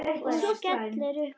Og skellir upp úr.